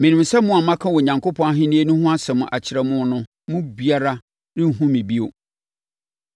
“Menim sɛ mo a maka Onyankopɔn Ahennie no ho asɛm akyerɛ mo no mu biara renhunu me bio.